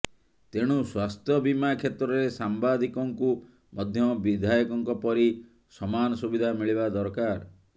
ତେଣୁ ସ୍ବାସ୍ଥ୍ୟବୀମା କ୍ଷେତ୍ରରେ ସାମ୍ବାଦିକଙ୍କୁ ମଧ୍ୟ ବିଧାୟକଙ୍କ ପରି ସମାନ ସୁବିଧା ମିଳିବା ଦରକାର